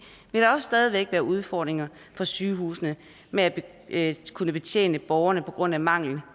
vil der også stadig væk være udfordringer for sygehusene med at kunne betjene borgerne på grund af mangel